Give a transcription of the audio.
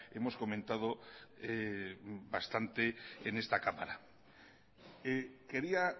hemos comentado bastante en esta cámara quería